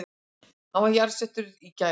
Hann var jarðsettur í gær